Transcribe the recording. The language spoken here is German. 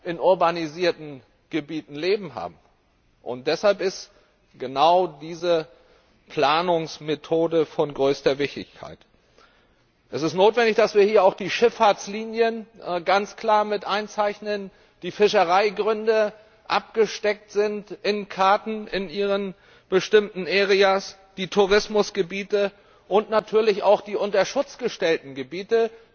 in urbanisierten Gebieten leben. Deshalb ist genau diese Planungsmethode von größter Wichtigkeit. Es ist notwendig, dass wir hier auch die Schifffahrtslinien ganz klar mit einzeichnen, die Fischereigründe in Karten in ihren bestimmten Gebieten abgesteckt sind, die Tourismusgebiete und natürlich auch die unter Schutz gestellten Gebiete,